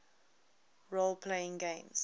role playing games